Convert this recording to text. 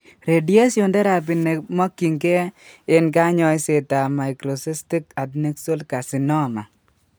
Radiation teraphy nekemokyinkee eng' kanyoiseet ab microcystic adnexal carcinnoma